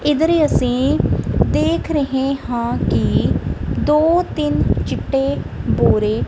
ਇੱਧਰ ਹੀ ਅਸੀਂ ਦੇਖ ਰਹੇ ਹਾਂ ਕਿ ਦੋ ਤਿੰਨ ਚਿੱਟੇ ਬੋਰੇ।